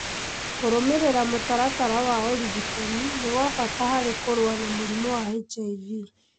Kũrũmĩrĩra mũtaratara wa ũrigitani nĩ gwa bata harĩ kũrũa na mũrimũ wa HIV